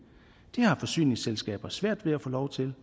har forsyningsselskaber svært ved at få lov til